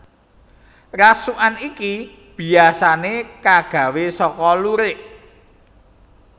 Rasukan iki biyasané kagawé saka lurik